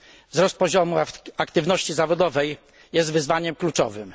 Wzrost poziomu aktywności zawodowej jest wyzwaniem kluczowym.